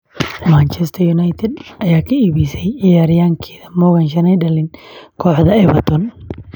Man U ayaa Morgan Schneiderlin ka iibisay Everton